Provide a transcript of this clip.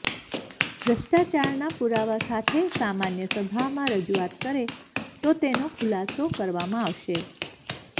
ભ્રષ્ટાચારના પુરાવા સાથે સમાન્ય સભામાં રજુઆત કરે તો તેનો ખુલાસો કરવામાં આવશે